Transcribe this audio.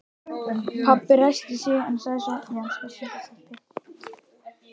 Pabbi ræskti sig en sagði svo